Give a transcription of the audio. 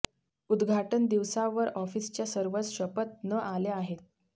उद्घाटन दिवसावर ऑफिसच्या सर्वच शपथ न आल्या आहेत